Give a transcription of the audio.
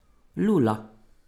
Lula.